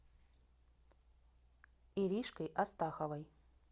иришкой астаховой